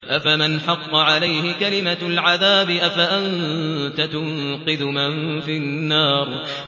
أَفَمَنْ حَقَّ عَلَيْهِ كَلِمَةُ الْعَذَابِ أَفَأَنتَ تُنقِذُ مَن فِي النَّارِ